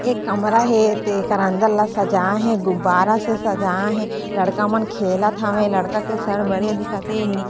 एक कमरा हे तेकर अंदर ल सजाए हे गुब्बारा से सजाए हे लड़का मन खेलत हवे लड़का के सर बड़े देखत हे।